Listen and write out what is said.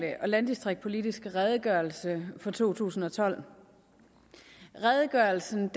og landdistriktspolitiske redegørelse for to tusind og tolv redegørelsen